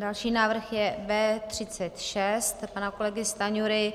Další návrh je B36 pana kolegy Stanjury,